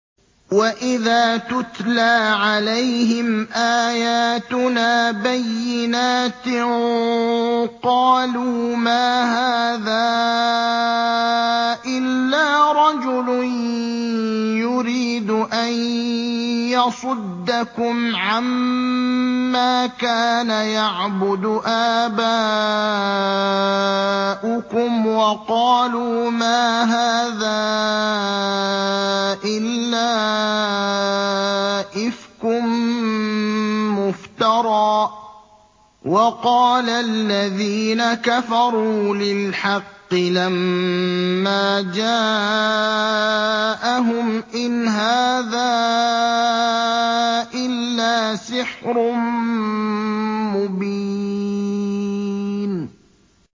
وَإِذَا تُتْلَىٰ عَلَيْهِمْ آيَاتُنَا بَيِّنَاتٍ قَالُوا مَا هَٰذَا إِلَّا رَجُلٌ يُرِيدُ أَن يَصُدَّكُمْ عَمَّا كَانَ يَعْبُدُ آبَاؤُكُمْ وَقَالُوا مَا هَٰذَا إِلَّا إِفْكٌ مُّفْتَرًى ۚ وَقَالَ الَّذِينَ كَفَرُوا لِلْحَقِّ لَمَّا جَاءَهُمْ إِنْ هَٰذَا إِلَّا سِحْرٌ مُّبِينٌ